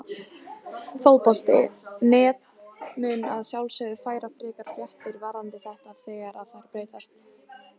Fótbolti.net mun að sjálfsögðu færa frekari fréttir varðandi þetta þegar að þær berast.